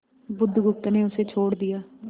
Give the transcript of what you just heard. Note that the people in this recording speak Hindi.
बुधगुप्त ने उसे छोड़ दिया